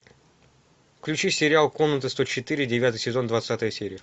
включи сериал комната сто четыре девятый сезон двадцатая серия